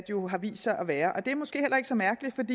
jo har vist sig at være det er måske ikke så mærkeligt